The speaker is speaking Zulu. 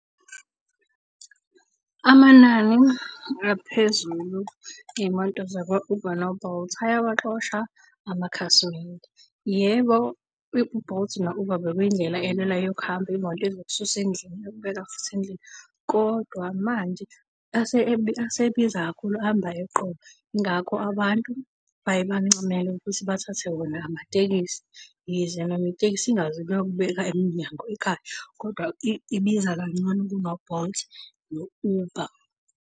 Amanani aphezulu ey'moto zakwa-Uber no-Bolt ayawaxosha amakhasimende. Yebo, u-Bolt no-Uber bekuyindlela elula yokuhamba, imoto ezokususa endlini iyokubeka futhi endlini kodwa manje asebiza kakhulu, amba eqolo yingakho abantu baye bancamele ukuthi bathathe wona amatekisi. Yize noma itekisi ingazi kuyokubeka emnyango ekhaya kodwa ibiza kangcono kuno-Bolt no-Uber.